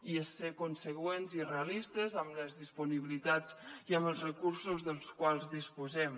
i és ser conseqüents i realistes amb les disponibilitats i amb els recursos dels quals disposem